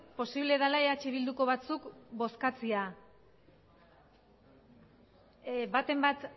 posible dela eh bilduko batzuk bozkatzea baten bat